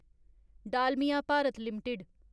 Dalmia Bharat limited